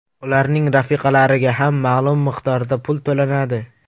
Ularning rafiqalariga ham ma’lum miqdorda pul to‘lanadi.